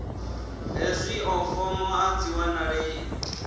hezwio fomo a dzi wanalei